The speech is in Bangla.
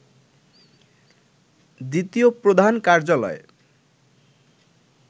দ্বিতীয় প্রধান কার্যালয়